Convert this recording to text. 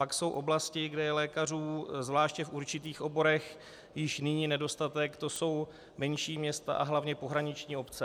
Pak jsou oblasti, kde je lékařů, zvláště v určitých oborech, již nyní nedostatek, to jsou menší města a hlavně pohraniční obce.